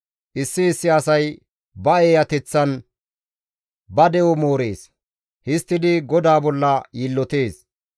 Issi issi asay ba eeyateththan ba de7o moorees; histtidi GODAA bolla yiillotees.